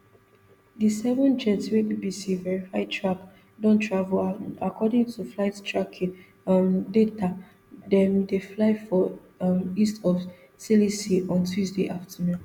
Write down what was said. di seven jets wey bbc verify track don travel and according to flight tracking um data dem dey fly for um east of sicily on tuesday afternoon